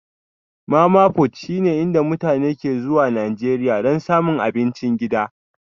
Mama-fut shine inda mutane ke zuwa Najeriya don samun abincin gida